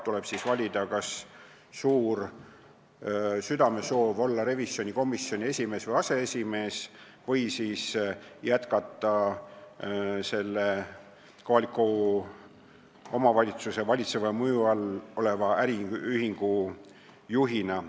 Tuleb valida, kas suur südamesoov on olla revisjonikomisjoni esimees/aseesimees või jätkata näiteks kohaliku omavalitsuse valitseva mõju all oleva äriühingu juhina.